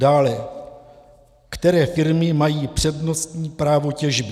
Dále, které firmy mají přednostní právo těžby?